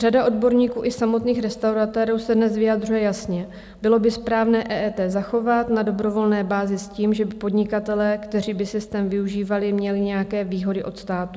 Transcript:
Řada odborníků i samotných restauratérů se dnes vyjadřuje jasně: Bylo by správné EET zachovat na dobrovolné bázi s tím, že by podnikatelé, kteří by systém využívali, měli nějaké výhody od státu.